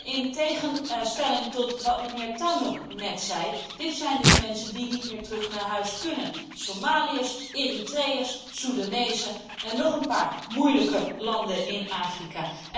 En in tegenstelling tot wat mijnheer Tannock net zei, zijn dit mensen die niet meer terug naar huis kunnen, Somaliërs, Eritreërs, Soedanezen en nog een paar moeilijke landen in Afrika.